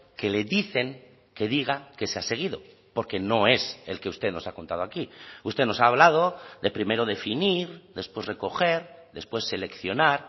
que le dicen que diga que se ha seguido porque no es el que usted nos ha contado aquí usted nos ha hablado de primero definir después recoger después seleccionar